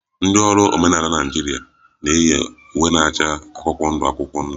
Ndị ọrụ omenala Naịjirịa na-eyi uwe na-acha akwụkwọ ndụ akwụkwọ ndụ